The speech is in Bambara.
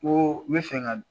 Ko n bɛ fɛ ka